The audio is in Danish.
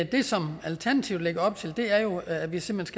det som alternativet lægger op til er jo at vi simpelt